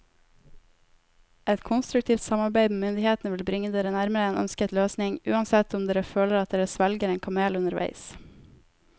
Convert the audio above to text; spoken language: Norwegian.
Et konstruktivt samarbeid med myndighetene vil bringe dere nærmere en ønsket løsning, uansett om dere føler at dere svelger en kamel underveis.